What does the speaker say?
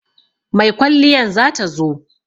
Mai kwalliyan za ta zo.